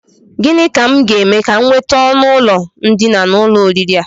Gịnị ka m ga-eme ka m nweta ọnụụlọ ndina n'ụlọ oriri a?